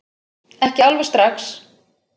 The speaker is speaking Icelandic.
Ekki alveg strax